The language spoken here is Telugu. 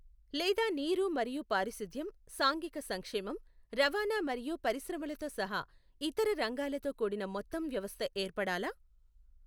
లేదా నీరు మరియు పారిశుధ్యం, సాంఘిక సంక్షేమం, రవాణా మరియు పరిశ్రమలతో సహా ఇతర రంగాలతో కూడిన మొత్తం వ్యవస్థ ఏర్పడాలా?